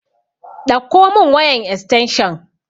Ɗakko mun wayan estanshan